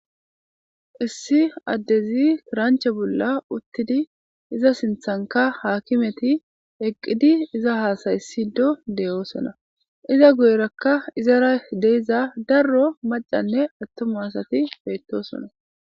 issi addezi kiranche bolla uttidi iza sinthanka haakimeti eqqidi iza haasaysido deyoosona iza guyerakka izara hideiza darro macanne attuma asati beettosona